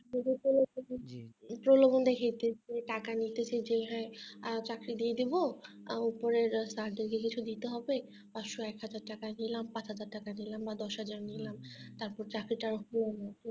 . প্রলোভন দেখাচ্ছে যে টাকা নিচ্ছি যে হ্যাঁ আর চাকরি দিয়ে দেব আর উপরের sir দেরকে কিছু দিতে হবে পাঁচশো একহাজার টাকা দিলাম পাঁচহাজার টাকা দিলাম আর দশহাজার নিলাম তারপর চাকরিটা আর হলো না